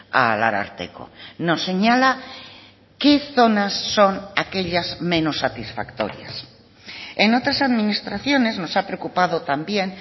al ararteko nos señala qué zonas son aquellas menos satisfactorias en otras administraciones nos ha preocupado también